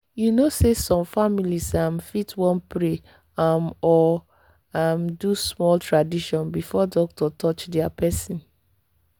you know say some families um fit wan pray um or um do small tradition before doctor touch their person.